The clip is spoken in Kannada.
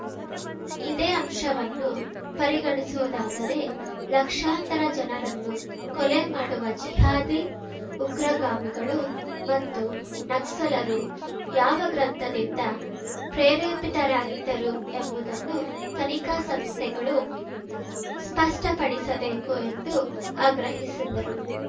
ಇದೇ ಅಂಶವನ್ನು ಪರಿಗಣಿಸುವುದಾದರೆ ಲಕ್ಷಾಂತರ ಜನರನ್ನು ಕೊಲೆ ಮಾಡುವ ಜಿಹಾದಿ ಉಗ್ರಗಾಮಿಗಳು ಮತ್ತು ನಕ್ಸಲರು ಯಾವ ಗ್ರಂಥದಿಂದ ಪ್ರೇರೇಪಿತರಾಗಿದ್ದರು ಎಂಬುದನ್ನು ತನಿಖಾ ಸಂಸ್ಥೆಗಳು ಸ್ಪಷ್ಟಪಡಿಸಬೇಕು ಎಂದು ಆಗ್ರಹಿಸಿದರು